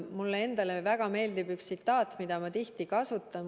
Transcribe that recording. Mulle endale väga meeldib üks tsitaat, mida ma tihti kasutan.